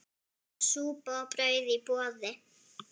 Súpa og brauð í boði.